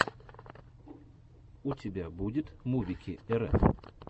у тебя будет мувики рф